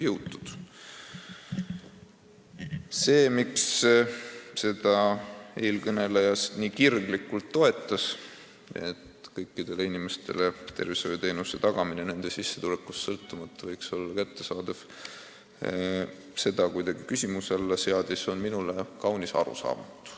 Miks eelkõneleja nii kirglikult toetas seda mõtet ja seadis kuidagi küsimärgi alla printsiibi, et kõikidele inimestele võiks tervishoiuteenus nende sissetulekust sõltumata tagatud olla, on minule kaunis arusaamatu.